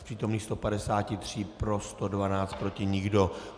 Z přítomných 153 pro 112, proti nikdo.